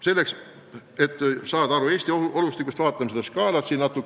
Selleks, et Eesti olustikust pilt saada, vaatame seda skaalat siin slaidil.